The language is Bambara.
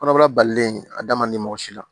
Kɔnɔbara balilen a da man di mɔgɔ si la